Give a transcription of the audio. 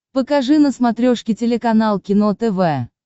покажи на смотрешке телеканал кино тв